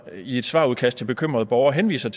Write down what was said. i et svarudkast til bekymrede borger henviser